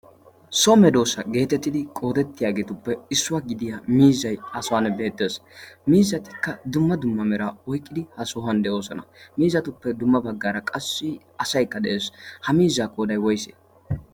soome doossa geetettidi qoodettiyaageetuppe issuwaa gidiya miizzay ha sohan beettees. miizatikka dumma dumma meraa oiqqidi ha sohuwan de'oosona. miizatuppe dumma baggaara qassi asaykka de'ees ha miizzaa koodai woyse?